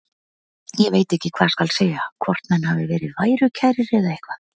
Ég veit ekki hvað skal segja, hvort menn hafi verið værukærir eða eitthvað.